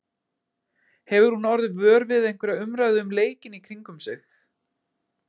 Hefur hún orðið vör við einhverja umræðu um leikinn í kringum sig?